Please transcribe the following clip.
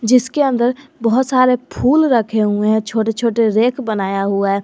इसके अंदर बहुत सारे फूल रखे हुए हैं छोटे छोटे रैक बनाया हुआ है।